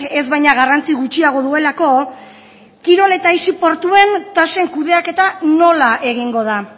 ez baina garrantzi gutxiago duelako kirol eta aisi portuan tasen kudeaketa nola egingo da